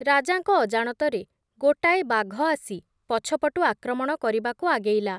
ରାଜାଙ୍କ ଅଜାଣତରେ ଗୋଟାଏ ବାଘ ଆସି, ପଛପଟୁ ଆକ୍ରମଣ କରିବାକୁ ଆଗେଇଲା ।